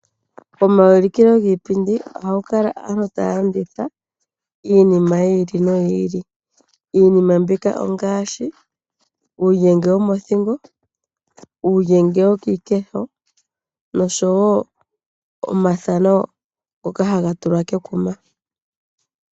Omaulikilo giipindi oha ga kala aantu ta ya landitha, iinima yi ili, no yi ili. Iinima mbika ongaashi: Uulyenge womothingo, uulyenge wokiikesho, nosho woo omathano ngoka ha ga tulwa kekuma.